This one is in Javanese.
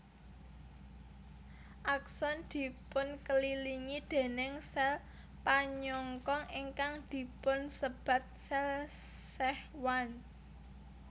Akson dipunkelilingi déning sèl panyongkong ingkang dipunsebat sèl Schwann